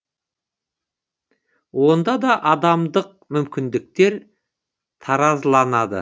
онда да адамдық мүмкіндіктер таразыланады